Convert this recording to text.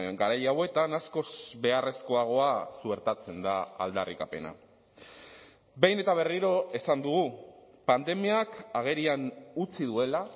garai hauetan askoz beharrezkoagoa suertatzen da aldarrikapena behin eta berriro esan dugu pandemiak agerian utzi duela